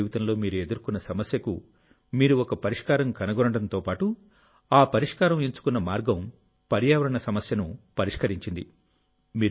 కళాశాల జీవితంలో మీరు ఎదుర్కొన్న సమస్యకు మీరు ఒక పరిష్కారం కనుగొనడంతో పాటు ఆ పరిష్కారం ఎంచుకున్న మార్గం పర్యావరణ సమస్యను పరిష్కరించింది